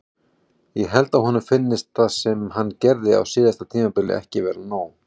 Ég held að honum finnist það sem hann gerði á síðasta tímabili ekki vera nóg.